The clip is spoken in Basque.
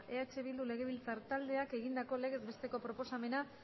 eh bildu legebiltzar taldeak egindako legez besteko proposamena